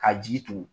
Ka jigi tugu